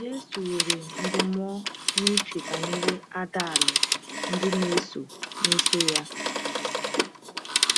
Jésù were ndúmó n’uche banyere àdàlù ndị na-eso na-eso ya.